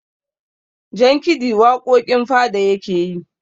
jankidi waƙoƙin fada yake yi